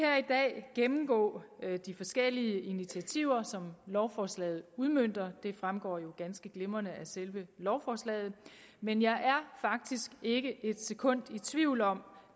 gennemgå de forskellige initiativer som lovforslaget udmønter det fremgår jo ganske glimrende af selve lovforslaget men jeg er faktisk ikke et sekund i tvivl om